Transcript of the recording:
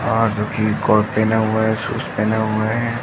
और जो कि कोट पेहना हुआ है। शूज़ पेहना हुआ है।